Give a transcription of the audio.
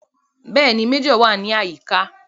Bẹ́ẹ̀ni, Méjọ̀ náà wà ní àyíká